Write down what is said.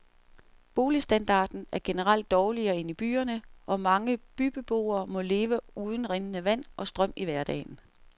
Boligstandarden er generelt dårligere end i byerne, og mange bygdebeboere må leve uden rindende vand og strøm i hverdagen.